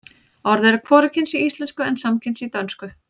orðið er hvorugkyns í íslensku en samkyns í dönsku